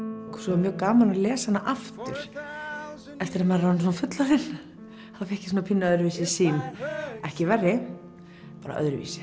var mjög gaman að lesa hana aftur eftir að maður er orðin fullorðin fékk ég pínu öðruvísi sýn ekki verri bara öðruvísi